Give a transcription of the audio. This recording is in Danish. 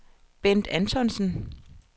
Bendt Antonsen